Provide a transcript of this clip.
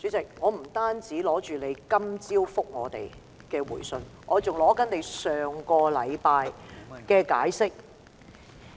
主席，我不僅看過你今早給我們的回信，我還看了你上星期的解釋。